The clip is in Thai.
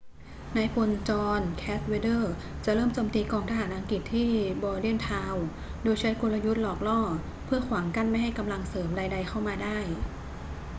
นายพล john cadwalder จะเริ่มโจมตีกองทหารอังกฤษที่ bordentown โดยใช้กลยุทธ์หลอกล่อ เพื่อขวางกั้นไม่ให้กำลังเสริมใด ๆ เข้ามาได้